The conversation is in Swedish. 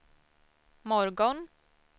morgon